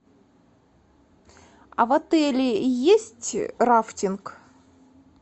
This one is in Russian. а в отеле есть рафтинг